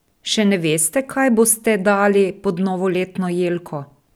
Še ne veste, kaj boste dali pod novoletno jelko?